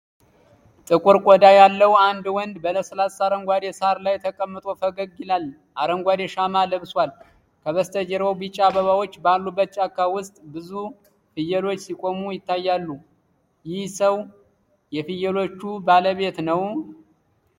ጥቁር ቆዳ ያለው አንድ ወንድ በለስላሳ አረንጓዴ ሳር ላይ ተቀምጦ ፈገግ ይላል። አረንጓዴ ሻማ ለብሷል፤ ከበስተጀርባው ቢጫ አበባዎች ባሉበት ጫካ ውስጥ ብዙ ፍየሎች ሲቆሙ ይታያሉ፤ ይህ ሰው የፍየሎቹ ባለቤት ነው?